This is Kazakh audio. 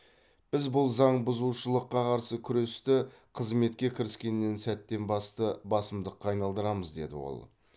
біз бұл заң бұзушылыққа қарсы күресті қызметке кіріскеннен сәттен басты басымдыққа айналдырамыз деді ол